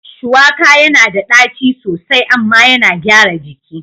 Shuwaka yana da ɗaci sosai amma yana gyara jiki.